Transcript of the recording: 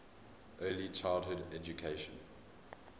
early childhood education